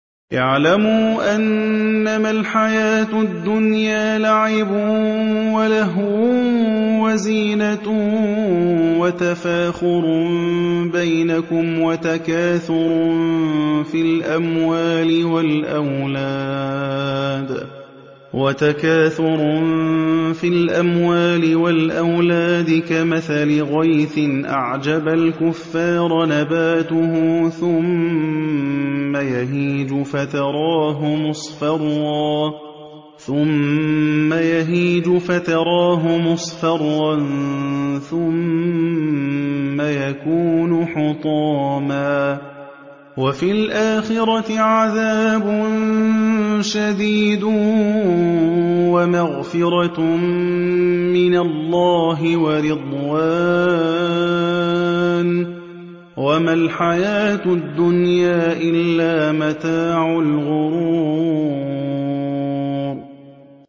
اعْلَمُوا أَنَّمَا الْحَيَاةُ الدُّنْيَا لَعِبٌ وَلَهْوٌ وَزِينَةٌ وَتَفَاخُرٌ بَيْنَكُمْ وَتَكَاثُرٌ فِي الْأَمْوَالِ وَالْأَوْلَادِ ۖ كَمَثَلِ غَيْثٍ أَعْجَبَ الْكُفَّارَ نَبَاتُهُ ثُمَّ يَهِيجُ فَتَرَاهُ مُصْفَرًّا ثُمَّ يَكُونُ حُطَامًا ۖ وَفِي الْآخِرَةِ عَذَابٌ شَدِيدٌ وَمَغْفِرَةٌ مِّنَ اللَّهِ وَرِضْوَانٌ ۚ وَمَا الْحَيَاةُ الدُّنْيَا إِلَّا مَتَاعُ الْغُرُورِ